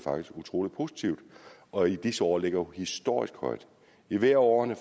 utrolig positivt og i disse år ligger historisk højt i hvert af årene